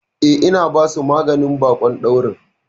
Eh, ina basu maganin baƙon daurin.